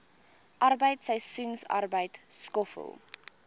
arbeid seisoensarbeid skoffel